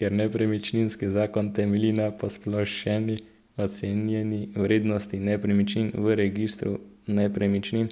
Ker nepremičninski zakon temelji na posplošeni ocenjeni vrednosti nepremičnin v registru nepremičnin